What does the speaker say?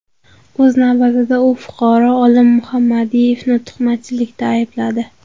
O‘z navbatida, u fuqaro Olim Muhammadiyevni tuhmatchilikda aybladi.